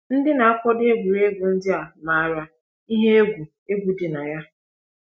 Ndị na-akwado egwuregwu ndị a maara ihe egwu egwu dị na ya.